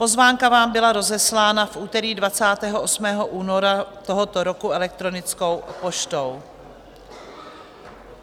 Pozvánka vám byla rozeslána v úterý 28. února tohoto roku elektronickou poštou.